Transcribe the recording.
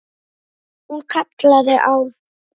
Hún kallaði á